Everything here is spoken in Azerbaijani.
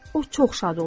O çox şad oldu.